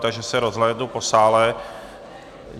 Takže se rozhlédnu po sále.